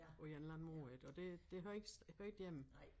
På en eller anden måde ik og det det hører ikke hører ikke hjemme